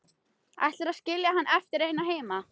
Ætlarðu að skilja hann eftir einan heima?